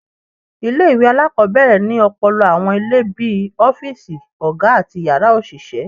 Ile-iwe alakọbẹrẹ ni ọpọlọpọ awọn ile bii ọfiisi oga ati yara oṣiṣẹ